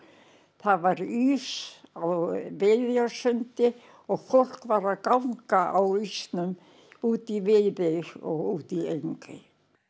það var ís á og fólk var að ganga á ísnum út í Viðey og út í Engey